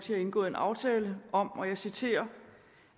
har indgået en aftale om og jeg citerer